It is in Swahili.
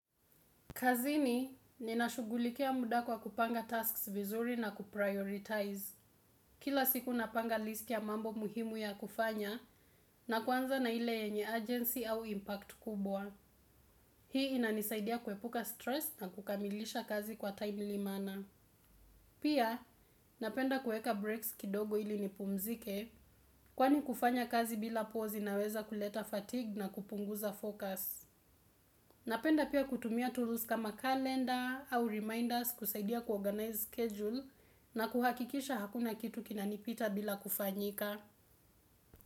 Kazini, ninashugulikia muda kwa kupanga tasks vizuri na kuprioritize. Kila siku napanga list ya mambo muhimu ya kufanya na kuanza na ile enye urgency au impact kubwa. Hii inanisaidia kuepuka stress na kukamilisha kazi kwa timely manner Pia, napenda kueka breaks kidogo ili nipumzike kwani kufanya kazi bila pause inaweza kuleta fatigue na kupunguza focus. Napenda pia kutumia tools kama calendar au reminders kusaidia kuorganize schedule na kuhakikisha hakuna kitu kinanipita bila kufanyika.